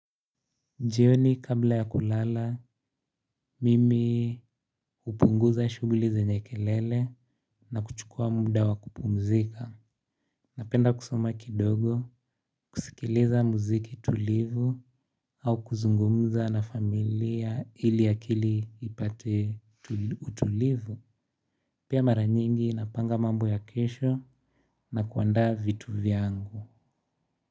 Jioni kabla ya kulala, mimi hupunguza shughuli zenye kelele na kuchukua muda wa kupumzika. Napenda kusoma kidogo, kusikiliza muziki tulivu au kuzungumza na familia ili akili ipate utulivu. Pia mara nyingi napanga mambo ya kesho na kuandaa vitu vyangu.